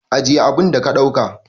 Ajiye abun da ka dauka!